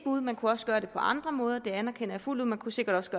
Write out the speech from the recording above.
bud man kunne også gøre det på andre måder det anerkender jeg fuldt ud man kunne sikkert